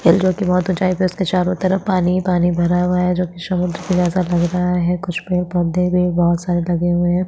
जो की बहुत ऊंचाई में है उसके चारो तरफ पानी ही पानी भरा हुआ है जो की समुद्र किनारे ऐसे लग रहा है कुछ पेड़ - पौधे भी बहुत सारे लगे हुए है।